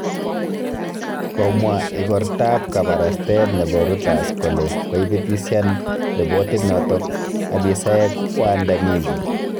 Komwa igortab kabarastael nebo Reuters kole koitibitisyan ribotiit noto abisayek waandamizi